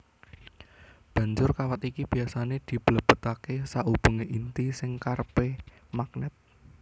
Banjur kawat iki biasané diblebetaké saubengé inti sing kerepé magnèt